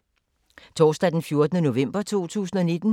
Torsdag d. 14. november 2019